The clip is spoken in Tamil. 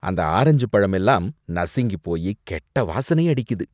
அந்த ஆரஞ்சு பழமெல்லாம் நசுங்கி போயி கெட்ட வாசனை அடிக்குது.